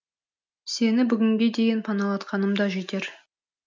сені бүгінге дейін паналатқаным да жетер